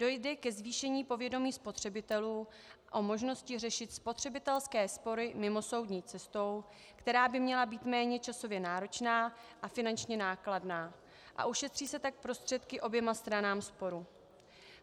Dojde ke zvýšení povědomí spotřebitelů o možnosti řešit spotřebitelské spory mimosoudní cestou, která by měla být méně časově náročná a finančně nákladná, a ušetří se tak prostředky oběma stranám sporu.